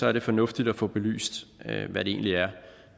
er det fornuftigt at få belyst hvad det egentlig er